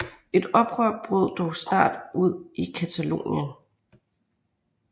Et oprør brød dog snart ud i Catalonien